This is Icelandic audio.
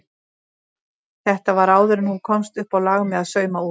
Þetta var áður en hún komst uppá lag með að sauma út.